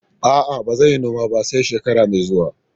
A'a, ba zan yi noma ba, sai shekara mai zuwa.